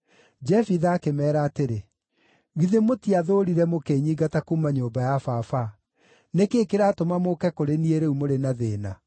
Jefitha akĩmeera atĩrĩ, “Githĩ mũtiathũũrire mũkĩnyingata kuuma nyũmba ya baba? Nĩ kĩĩ kĩratũma mũũke kũrĩ niĩ rĩu mũrĩ na thĩĩna?”